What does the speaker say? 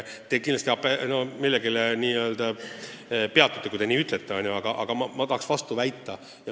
Te kindlasti millelegi toetute, kui te nii ütlete, aga ma tahan vastu väita.